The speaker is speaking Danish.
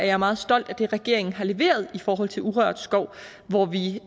er meget stolte af det regeringen har leveret i forhold til urørt skov hvor vi